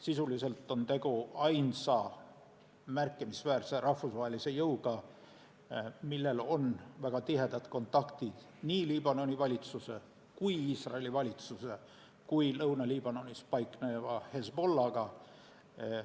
Sisuliselt on tegu ainsa märkimisväärse rahvusvahelise jõuga, millel on väga tihedad kontaktid nii Liibanoni ja Iisraeli valitsuse kui ka Lõuna-Liibanonis paikneva Hezbollah'ga.